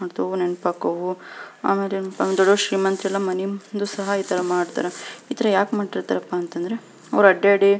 ಮತ್ತವು ನೆನಪಾಕ್ಕವು ಆಮೇಲೆನ್ಪಾಂದ್ರೆ ದೊಡ್ದೊಡ್ ಶ್ರೀಮಂತರೆಲ್ಲ ಮನೆ ಮುಂದು ಸಹ ಮಾಡ್ತಾರೆ ಇತರ ಯಾಕ ಮಾಡ್ತಿರಪ್ಪ ಅಂತಂದ್ರ ಅವ್ರ್ ಅಡ್ಯಾಡಿ --